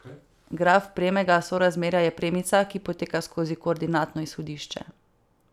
Graf premega sorazmerja je premica, ki poteka skozi koordinatno izhodišče.